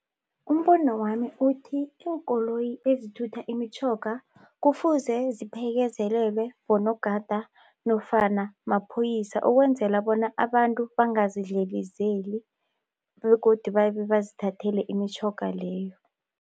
Umbono wami uthi iinkoloyi ezithutha imitjhoga kufuze ziphekezelelwe bonogada nofana maphoyisa ukwenzela bona abantu bangazidlelezeli begodu babe bazithathele imitjhoga leyo.